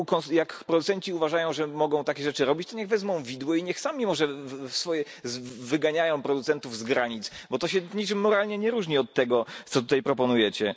Jak producenci uważają, że mogą takie rzeczy robić, to niech wezmą widły i niech sami może wyganiają producentów z granic, bo to się niczym moralnie nie różni od tego, co tutaj proponujecie.